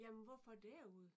Jamen hvorfor derude?